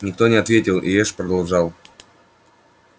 никто не ответил и эш продолжал